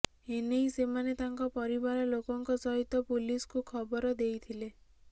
ଏନେଇ ସେମାନେ ତାଙ୍କ ପରିବାର ଲୋକଙ୍କ ସହିତ ପୁଲିସ୍କୁ ଖବର ଦେଇଥିଲେ